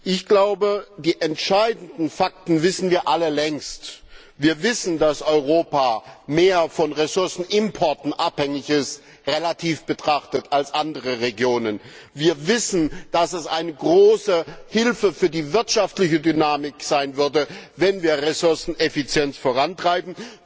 Ich glaube, die entscheidenden Fakten kennen wir alle längst. Wir wissen, dass Europa mehr von Ressourcenimporten abhängig ist relativ betrachtet als andere Regionen. Wir wissen, dass es eine große Hilfe für die wirtschaftliche Dynamik wäre, wenn wir Ressourceneffizienz vorantreiben.